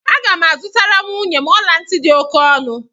Aga m azụtara nwunye m ọla ntị dị oke ọnụ